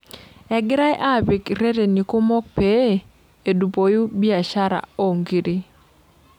Egirai apik reteni kumok pee edupoi biashara oo nkiri.